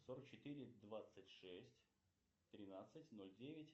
сорок четыре двадцать шесть тринадцать ноль девять